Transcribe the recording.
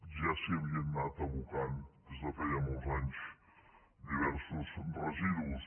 ja s’hi havien anat abocant des de feia molts anys diversos residus